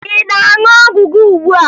Ị na-aṅụ ọgwụ gị ugbua?